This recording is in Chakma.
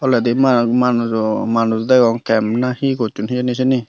toleydi manuj manujo manuj degong camp na he gosson hejeni siyeni.